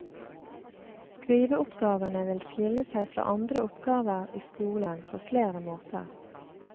Skriveoppgavene vil skille seg fra andre oppgaver i skolen på flere måter.